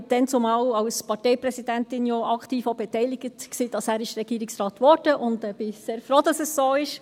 Ich war dazumal als Parteipräsidentin ja auch aktiv daran beteiligt, dass er Regierungsrat wurde, und ich bin sehr froh, dass es so ist.